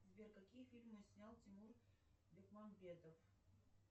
сбер какие фильмы снял тимур бекмамбетов